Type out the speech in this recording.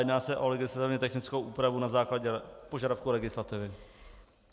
Jedná se o legislativně technickou úpravu na základě požadavku legislativy.